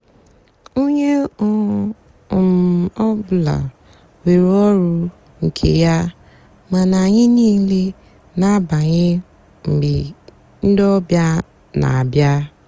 ónyé ọ um bụlà nwée ọrụ nkè yá mánà ányị nííle nà-àbanye mgbe ndị ọbíá nà-àbịa.